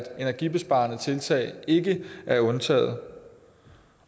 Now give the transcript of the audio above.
energibesparende tiltag ikke er undtaget